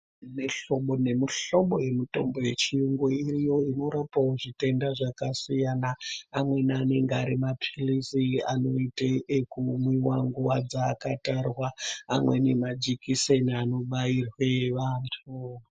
Mihlobo nemihlobo yemitombo yechiyungu iriyo i norapawo zvitenda zvakasiyana amweni anenge ari mapilizi anoite ekumwiwa nguwa dzaaakatarwa amweni majikiseni anobairwe vantu.